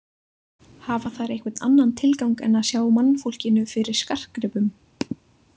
Hafa þær einhvern annan tilgang en að sjá mannfólkinu fyrir skartgripum?